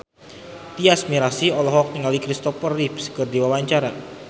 Tyas Mirasih olohok ningali Kristopher Reeve keur diwawancara